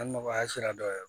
Ali nɔgɔya sira dɔ yɛrɛ